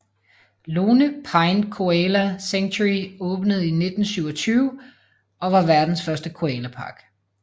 Lone Pine Koala Sanctuary åbnede i 1927 og var verdens første koalapark